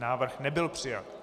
Návrh nebyl přijat.